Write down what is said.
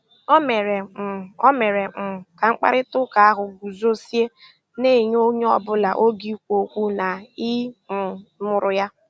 O mèrè um O mèrè um kà mkpáịrịtà ụ́ka ahụ́ gùzòziè, na-ènyé ònyè ọ́bụ́là ógè ìkwù ókwú na ị̀ um nụ́rụ́ ya.